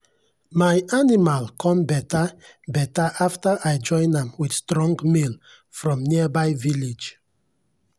my animal come better better after i join am with strong male from nearby village.